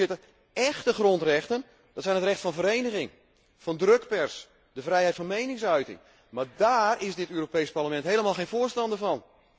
Voorzitter, échte grondrechten zijn het recht van vereniging, van drukpers, de vrijheid van meningsuiting, maar daar is dit Europees Parlement helemaal geen voorstander van.